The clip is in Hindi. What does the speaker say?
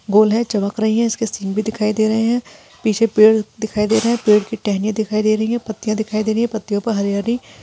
गोल है चमक रही है इसके सींग भी दिखाई दे रहे है पीछे पेड़ दिखाई दे रहे है पेड़ की टहनियाँ दिखाई देरी है पत्तियां दिखाई दे रही है पत्तियां पर हरी हरी --